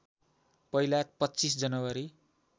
पहिला २५ जनवरी